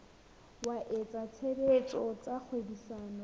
wa etsa tshebetso tsa kgwebisano